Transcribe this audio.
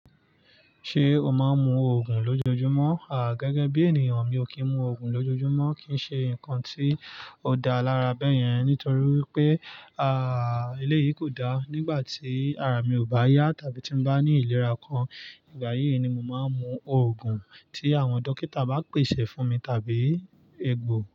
Ṣé o máa ń mu òògùn lójoojúmọ́? À, gẹ́gẹ́ bí ènìyàn mi ò kí ń mu òògùn lójoojúmọ́ kí ń ṣe ǹkan tí ó da lára bẹ́ẹ̀ yẹn. Nítorí wié, àà, eléyìí kò dá. Nígbà tí ara mi ò bá yá tàbí tí mo bá ní ìlera kan, ìgbà yí yìí ni mo máa ń mu òògùn tí àwọn dókítà bá pèsè fún mi tàbí egbò.